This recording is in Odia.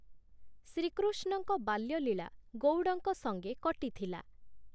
ଶ୍ରୀକୃଷ୍ଣଙ୍କ ବାଲ୍ୟଲୀଳା ଗଉଡ଼ଙ୍କ ସଙ୍ଗେ କଟିଥିଲା ।